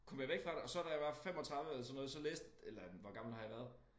Kom jeg væk fra det og så da jeg var 35 eller sådan noget så læste eller hvor gammel har jeg været